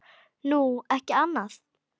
Nú, ekki annað.